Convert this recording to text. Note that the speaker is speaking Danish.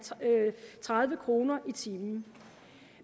tredive kroner i timen